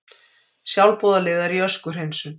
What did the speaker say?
Sjálfboðaliðar í öskuhreinsun